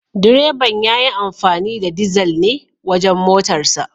Direban ya yi amfani da dizal ne wajen motarsa.